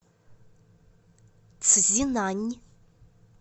цзинань